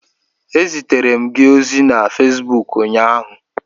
Ezitere m gị ozi na Fesbuk ụnyaahụ